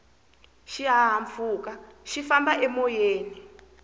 xihahampfhuka xi famba emoyeni